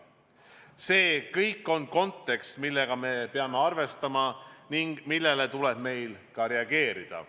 See kõik on kontekst, millega me peame arvestama ning millele meil tuleb reageerida.